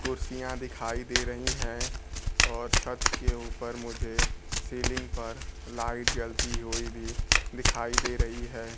कुर्सियां दिखाई दे रहीं हैं और छत के ऊपर मुझे सीलिंग पर लाइट जलती हुई भी दिखाई दे रही है।